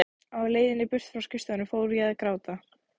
Á leiðinni burt frá skrifstofunni fór ég að gráta.